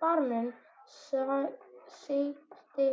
Baróninn sigldi